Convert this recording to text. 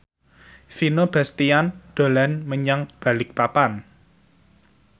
Vino Bastian dolan menyang Balikpapan